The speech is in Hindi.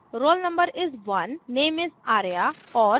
roll no is: 1 name is: arya और